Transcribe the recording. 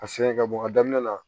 A siyɛn ka bɔ a daminɛ la